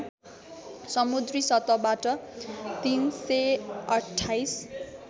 समुद्री सतहबाट ३२८